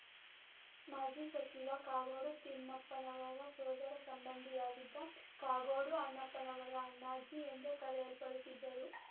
ಮಾಜಿ ಸಚಿವ ಕಾಗೋಡು ತಿಮ್ಮಪ್ಪನವರ ಸೋದರ ಸಂಬಂಧಿಯಾಗಿದ್ದ ಕಾಗೋಡು ಅಣ್ಣಪ್ಪನವರು ಅಣ್ಣಾಜಿ ಎಂದೇ ಕರೆಯಲ್ಪಡುತ್ತಿದ್ದರು